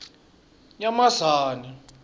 nyamazane